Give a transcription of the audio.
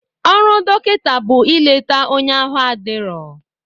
Ọrụ dọkịta bụ ileta onye ahụ adirọ.